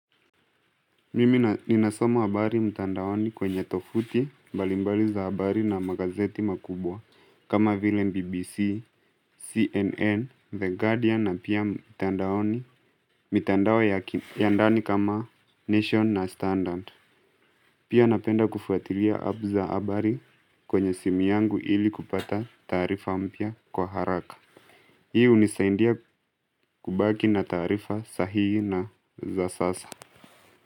Mimi na ninasoma habari mtandaoni kwenye tovuti mbalimbali za habari na magazeti makubwa kama vile bbc, cnn, the guardian na pia mtandaoni mitandao ya ki ya ndani kama nation na standard Pia napenda kufuatilia app za habari kwenye simu yangu ili kupata taarifa mpya kwa haraka Hii hunisaindia kubaki na taarifa sahii na za sasa.